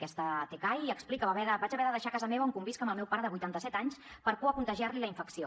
aquesta tcai explica vaig haver de deixar casa meva on convisc amb el meu pare de vuitanta set anys per por a contagiar li la infecció